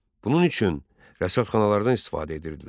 Bunun üçün rəsədxanalardan istifadə edirdilər.